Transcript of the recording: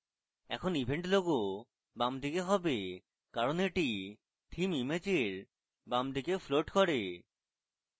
এখন event logo বামদিকে হবে কারণ এটি theme ইমেজের বামদিকে floats করে